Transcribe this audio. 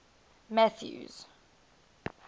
mathews